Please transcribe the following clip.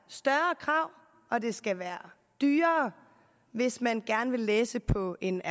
større krav og det skal være dyrere hvis man gerne vil læse på en